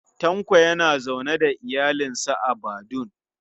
Tanko yana zaune da iyalinsa a Badun